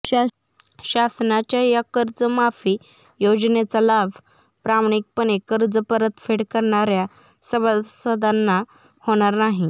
शासनाच्या या कर्जमाफी योजनेचा लाभ प्रामाणिकपणे कर्ज परतफेड करणार्या सभासदांना होणार नाही